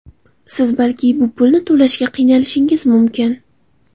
Siz balki bu pulni to‘lashga qiynalishingiz mumkin.